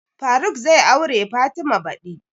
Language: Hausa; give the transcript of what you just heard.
Faruk zai aure fatima badi